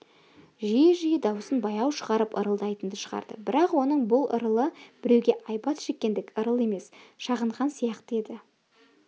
жиі-жиі даусын баяу шығарып ырылдайтынды шығарды бірақ оның бұл ырылы біреуге айбат шеккендік ырыл емес шағынған сияқты еді